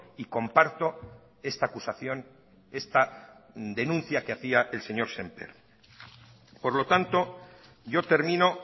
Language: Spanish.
y comparto esta acusación esta denuncia que hacía el señor sémper por lo tanto yo termino